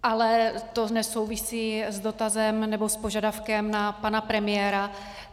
Ale to nesouvisí s dotazem, nebo s požadavkem na pana premiéra.